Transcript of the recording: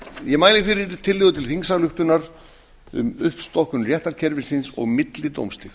ég mæli fyrir tillögu til þingsályktun um uppstokkun réttarkerfisins og millidómstig